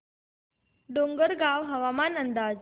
डोंगरगाव हवामान अंदाज